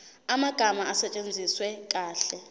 amagama asetshenziswe kahle